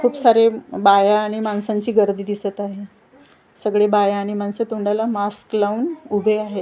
खूप सारे बाया आणि माणसांची गर्दी दिसतं आहे. सगळी बाया आणि माणसे तोंडाला मास्क लावून उभे आहेत.